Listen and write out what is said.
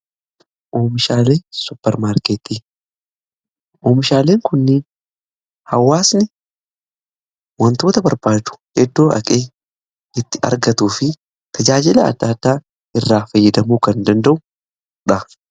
Oomishaalee supper maarkettii oomishaaleen kunni hawaasni wantoota barbaadu eddoo dhaqee itti argatu fi tajaajila adda addaa irraa fayyadamuu kan danda'udha.